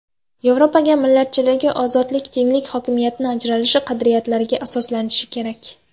Yevropa millatchiligi ozodlik, tenglik, hokimiyatlar ajratilishi qadriyatlariga asoslanishi kerak.